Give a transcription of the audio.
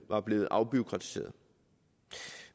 var blevet afbureaukratiseret